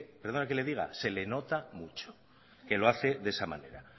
perdóname que le diga se le nota mucho que lo hace de esa manera